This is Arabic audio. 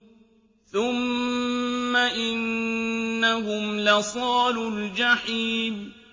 ثُمَّ إِنَّهُمْ لَصَالُو الْجَحِيمِ